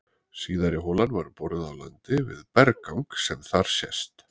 Síðari holan var boruð á landi við berggang sem þar sést.